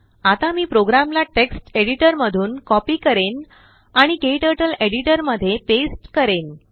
आता मी प्रोग्रामला टेक्स्ट एडिटरमधून कॉपी करेन आणिKTurtleएडिटरमध्ये पेस्ट करेन